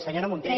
senyora munté